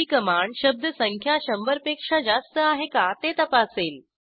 GT command शब्दसंख्या शंभरपेक्षा जास्त आहे का ते तपासेल